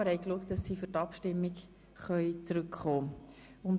Wir haben darauf geachtet, dass sie zur Abstimmung wieder zurück sind.